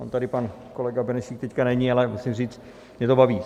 On tady pan kolega Benešík teď není, ale musím říct, mě to baví.